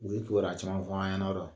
U ye kibaruya caman fɔ an ɲɛna, yɔrɔ?